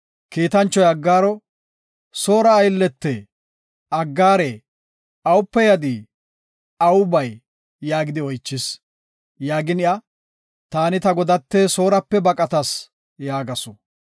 Kiitanchoy Aggaaro, “Soora ayllete, Aggaare, awupe yadii? Awu bay?” yaagidi oychis. Aggaara zaarada, “Taani ta godate Soorape baqatas” yaagasu.